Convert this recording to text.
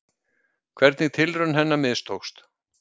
Hvernig tilraun hennar mistókst.